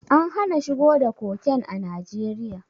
An hana shigo da koken a Najeriya.